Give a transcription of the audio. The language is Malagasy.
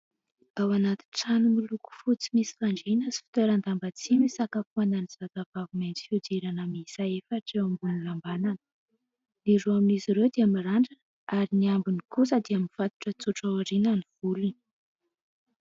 Ao anaty trano milko fotsy misy fandriana sy fitoeran-damba tsihy no isakafoanan'ny zavavavy mainty fihodirana miisa efatra eo ambony lambanana. Ny roa amin'izy ireo dia mirandrana ary ny ambiny kosa dia mifatotra tsotra aoriana ny volony.